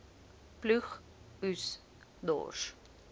ploeg oes dors